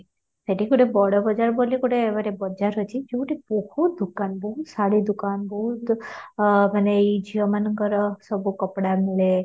ସେଇଠି ଗୋଟେ ବଡ ବଜାର ବୋଲି ଗୋଟେ ଗୋଟେ ବଜାର ଅଛି, ଯଉଠି ବହୁତ ଦୋକାନ ବହୁତ ଶାଢ଼ୀ ଦୋକାନ ବହୁତ ଆଃ ମାନେ ଏଇ ଝିଅ ମାନଙ୍କର ସବୁ କପଡା ମିଳେ